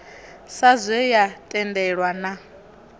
sa zwe ya tendelwa na